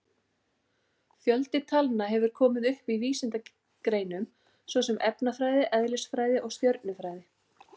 Fjöldi talna hefur komið upp í vísindagreinum svo sem efnafræði, eðlisfræði og stjörnufræði.